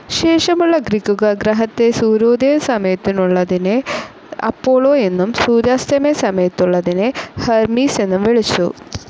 ശേഷമുള്ള ഗ്രീക്കുകാർ ഗ്രഹത്തെ സൂര്യോദയ സമയത്തുള്ളതിനെ അപ്പോളോ എന്നും സൂര്യാസ്തമയത്തുള്ളതിനെ ഹെർമീസ് എന്നും വിളിച്ചു.